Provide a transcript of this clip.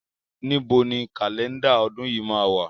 Níbo ni Kálẹ́ndà ọdún yìí máa wà?